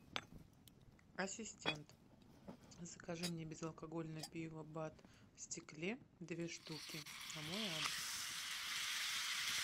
ассистент закажи мне безалкогольное пиво бад в стекле две штуки на мой адрес